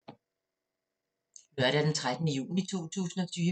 Lørdag d. 13. juni 2020